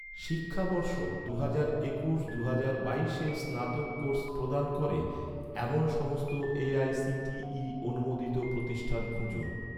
শিক্ষাবর্ষ দুহাজার একুশ দুহাজার বাইশে স্নাতক কোর্স প্রদান করে, এমন সমস্ত এ.আই.সি.টি.ই অনুমোদিত প্রতিষ্ঠান খুঁজুন